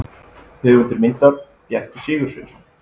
Höfundur myndar: Bjarki Sigursveinsson.